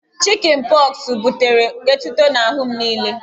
Chịkịn pọxụ butere etuto n'ahụ m niile